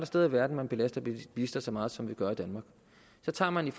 steder i verden man belaster bilister så meget som vi gør i danmark så tager man